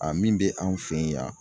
A min bɛ anw fɛ yen yan.